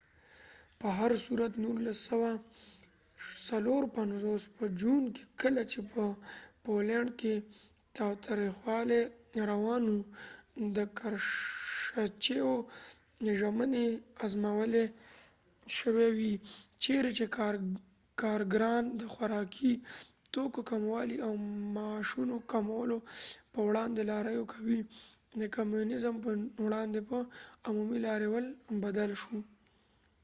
په هرصورت، د ۱۹۵۶ په جون کې، کله چې په پولینډ کې تاوتریخوالی روان و، د کرشچیو ژمنې ازمویل شوې وې چیرې چې کارګران د خوراکي توکو کموالي او معاشونو کمولو په وړاندې لاریون کوي، د کمونیزم په وړاندې په عمومي لاریون بدل شو